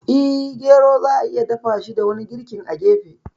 Eh, gero za'a iya dafashi da wani girkin a gefe.